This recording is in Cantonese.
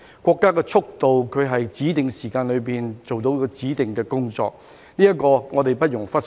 國家的速度是在指定時間內做到指定的工作，這點我們不容忽視。